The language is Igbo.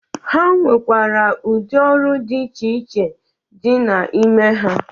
Ha nwekwara ụdị ọrụ dị iche iche dị n'ime ha.